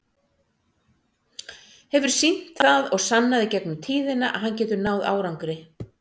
Hefur sýnt það og sannað í gegnum tíðina að hann getur náð árangri.